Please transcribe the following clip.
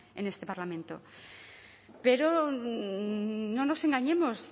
en este parlamento pero no nos engañemos